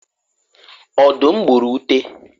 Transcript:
ọdum gburu ute